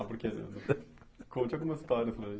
Ah, porque... Conte algumas histórias para gente.